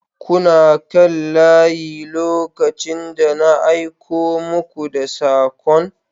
kuna kan layi lokacin da na aiko muku da sakon